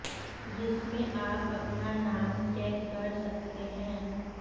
जिसमें आप अपना नाम चेक कर सकते हैं